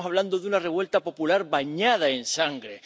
Estamos hablando de una revuelta popular bañada en sangre.